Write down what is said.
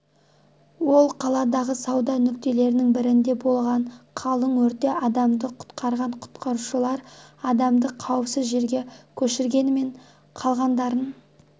ол қаладағы сауда нүктелерінің бірінде болған қалың өртте адамды құтқарған құтқарушылар адамды қауіпсіз жерге көшіргенмен қалғандарын